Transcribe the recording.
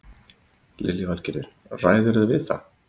Lillý Valgerður: Ræðurðu við það?